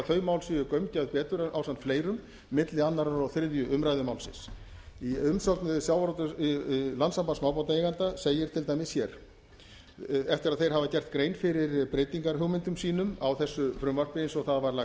þau mál séu gaumgæfð betur ásamt fleirum milli annars og þriðju umræðu málsins í umsögn landssambands smábátaeigenda segir til dæmis hér eftir að þeir hafa gert grein fyrir breytingahugmyndum sínum á þessu frumvarpi eins og það var lagt